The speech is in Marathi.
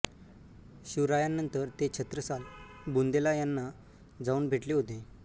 शिवरायांनंतर ते छत्रसाल बुंदेला यांना जावून भेटले होते